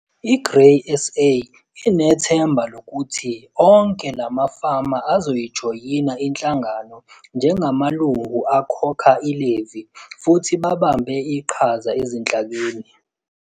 I-Grain SA inethemba lokuthi onke la mafama azoyijoyina inhlangano njengamalungu akhokha i-levy futhi babambe iqhaza ezinhlakeni.